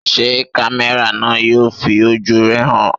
Ṣé kámẹ́rà náà yóò fi ojú rẹ̀ hàn?